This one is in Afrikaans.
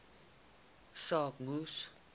saak moes